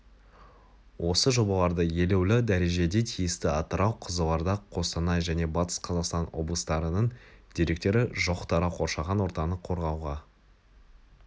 осы жобаларды елеулі дәрежеде тиісті атырау қызылорда қостанай және батыс қазақстан облыстарының деректері жоқ тарау қоршаған ортаны қорғауға